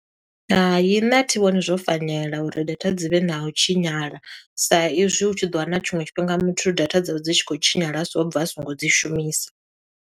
Hai, nṋe a thi vhoni zwo fanela uri data dzi vhe na u tshinyala, sa i zwi u tshi ḓo wana tshiṅwe tshifhinga muthu data dzawe dzi tshi khou tshinyala a siho o bva a songo dzi shumisa.